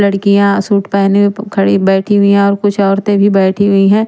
लड़किया सूट पेहने खड़ी बैठी हुई है और कुछ औरते भी बैठी हुई है।